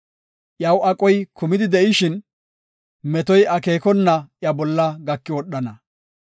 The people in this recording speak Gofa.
Iyaw aqoy kumidi de7ishin, metoy akeekona iya bolla gaki wodhana.